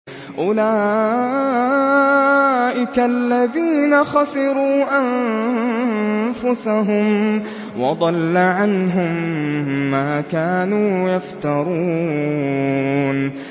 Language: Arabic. أُولَٰئِكَ الَّذِينَ خَسِرُوا أَنفُسَهُمْ وَضَلَّ عَنْهُم مَّا كَانُوا يَفْتَرُونَ